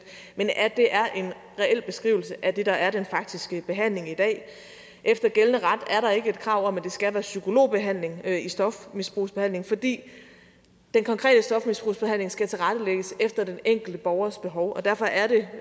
at det er en reel beskrivelse af det der er den faktiske behandling i dag efter gældende ret er der ikke et krav om at det skal være psykologbehandling der i stofmisbrugsbehandlingen fordi den konkrete stofmisbrugsbehandling skal tilrettelægges efter den enkelte borgers behov og derfor er det